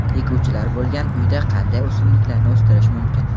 Chekuvchilar bo‘lgan uyda qanday o‘simliklarni o‘stirish mumkin?.